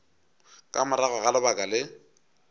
ka morago ga lebaka le